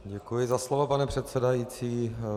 Děkuji za slovo, pane předsedající.